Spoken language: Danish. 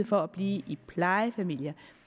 for at blive i plejefamilier